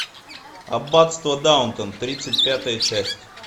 аббатство даунтон тридцать пятая часть